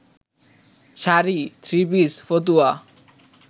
sari, three piece, ফতুয়া